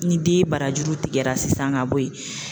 Ni den barajuru tigɛra sisan ka bɔ yen